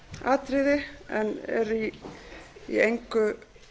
atriði en er í engu